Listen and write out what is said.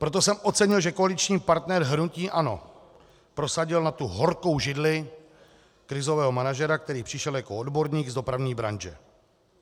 Proto jsem ocenil, že koaliční partner hnutí ANO prosadil na tu horkou židli krizového manažera, který přišel jako odborník z dopravní branže.